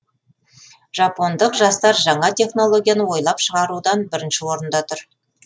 жапондық жастар жаңа технологияны ойлап шығарудан бірінші орында тұр